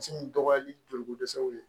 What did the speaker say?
Misi dɔgɔyali joliko dɛsɛw ye